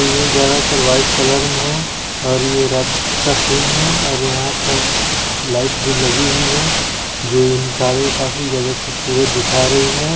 ये ज्यादातर white colour में है और ये रात का सिन है और यहा पे लाइट भी लगी हुई है जो इन कारों को काफी खूबसूरत दिखा रही है।